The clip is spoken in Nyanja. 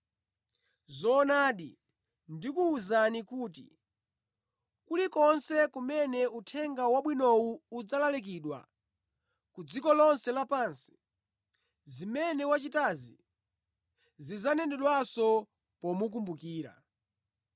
Zoonadi, ndikuwuzani kuti kulikonse kumene Uthenga Wabwinowu udzalalikidwa ku dziko lonse lapansi, zimene wachitazi zidzanenedwanso pomukumbukira.”